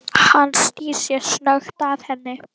Hann snýr sér snöggt að henni.